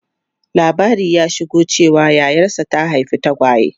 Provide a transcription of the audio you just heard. Labari ya shigo cewa yayarsa ta haifi tagwaye.